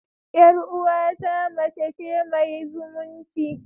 Yar uwata mace ce mai zumunci.